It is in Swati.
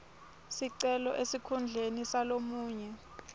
sicelo esikhundleni salomunye